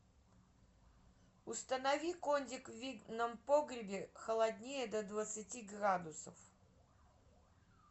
установи кондик в винном погребе холоднее до двадцати градусов